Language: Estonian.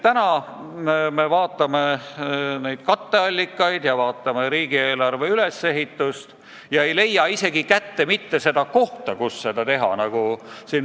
Täna on kritiseeritud pakutud katteallikaid, aga kui me vaatame riigieelarve ülesehitust, siis me lihtsalt ei leia sealt võimalikke kohti, kust katteallikaid leida.